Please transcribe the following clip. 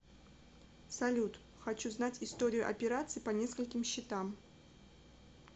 салют хочу знать историю операций по нескольким счетам